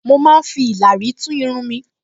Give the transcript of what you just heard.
Mo máa ń fi ìlàrí tún irun mi